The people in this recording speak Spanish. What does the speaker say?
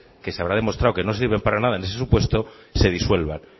que se habrá demostrado que no sirven para nada en ese supuesto se disuelvan